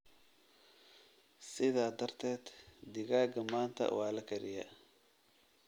Sidaa darteed, digaaga maanta waa la kariyaa